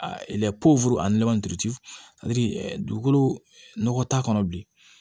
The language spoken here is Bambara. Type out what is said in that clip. dugukolo nɔgɔ t'a kɔnɔ bilen